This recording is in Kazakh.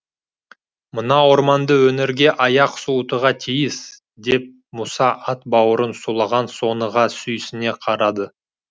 мына орманды өңірге аяқ суытуға тиіс деп мұса ат бауырын сулаған соныға сүйсіне қарады